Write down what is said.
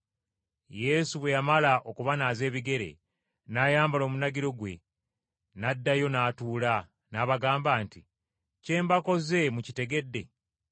Yesu bwe yamala okubanaaza ebigere n’ayambala omunagiro gwe, n’addayo n’atuula, n’abagamba nti, “Kye mbakoze mukitegedde?